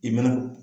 I mana